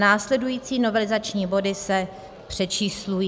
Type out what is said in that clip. Následující novelizační body se přečíslují;